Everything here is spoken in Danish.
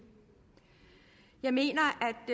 jeg mener